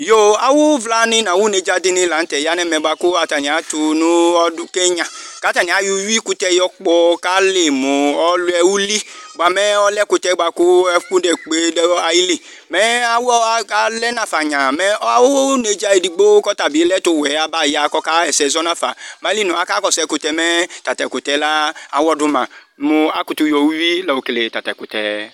yo awòvla ni n'awò nedza di ni lantɛ ya n'ɛmɛ boa kò atani ato no ɔdò Kenya k'atani ayɔ uwi kutɛ yɔ kpɔ k'ali mo ɔlɛ uli boa mo ɔlɛ ɛkutɛ boa kò ɛfu nekpe do ayili mɛ awu alɛ nafa nya mɛ awu nedza edigbo k'ɔtabi lɛ ɛtuwɛ aba ya k'ɔka ɣa ɛsɛ zɔ nafa mɛ ayili moa aka kɔsu ɛkutɛ mɛ ta to ɛkutɛ la awɔ do ma mo akutò yɔ uwi la okele ta to ɛkutɛ